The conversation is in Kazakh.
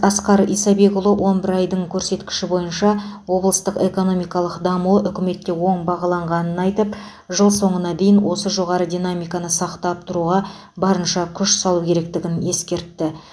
асқар исабекұлы он бір айдың көрсеткіш бойынша облыстық экономикалық дамуы үкіметте оң бағаланғанын айтып жыл соңына дейін осы жоғары динамиканы сақтап тұруға барынша күш салу керектігін ескертті